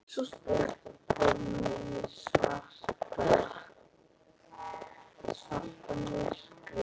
Sú stutta kom í svarta myrkri.